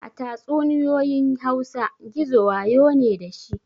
A tatsuniyoyin hausa gizo wayo ne dashi